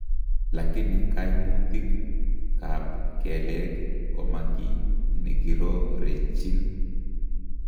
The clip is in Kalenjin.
Lakini kaimutik ab keleek koma kii nekirorechin